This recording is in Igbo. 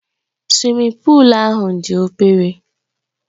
Suwimin puulu ahụ dị obere